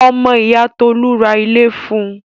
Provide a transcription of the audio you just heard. Ọmọ ìyá Tolú ra ilé fun.